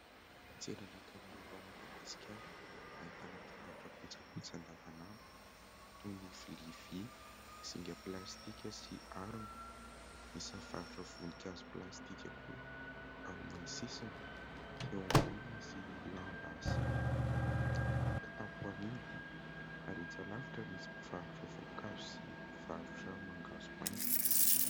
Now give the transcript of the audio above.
Tsena anankiray eto Madagasikara ahitana mpivarotra kojakoja andavan'andro toy ny vilia vy, zinga plastika sy harona. Misy mivarotra voninkazo plastika koa amin'ny sisiny. Eo amboniny misy lamba sy kitapo amidy ary etsy alavitra misy mpivarotra voankazo sy mpivarotra mangahazo maina.